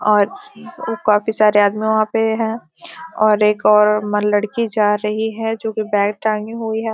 और काफी सारे आदमी वहाँ पे है और एक और लड़की जा रही है जो कि बैग टांगी हुई है।